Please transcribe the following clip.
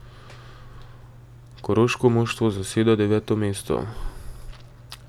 Koroško moštvo zaseda deveto mesto.